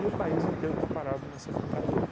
o país inteiro está parado nessa brincadeira.